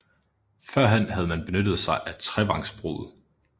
Førhen havde man benyttet sig af trevangsbruget